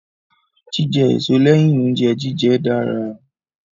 Jíjẹ èso lẹ́yìn oúnjẹ jíjẹ dára.